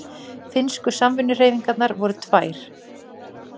Finnsku samvinnuhreyfingarnar voru tvær.